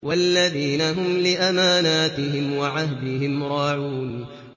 وَالَّذِينَ هُمْ لِأَمَانَاتِهِمْ وَعَهْدِهِمْ رَاعُونَ